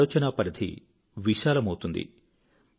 మీ ఆలోచనా పరిధి విశాలమౌతుంది